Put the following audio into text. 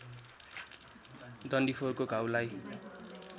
डन्डीफोरको घाउलाई